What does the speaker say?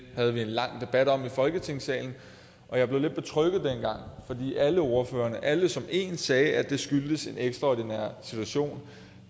havde vi en lang debat om i folketingssalen og jeg blev lidt betrygget dengang fordi alle ordførerne alle som én sagde at det skyldtes en ekstraordinær situation